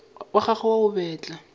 wa gagwe wa go betla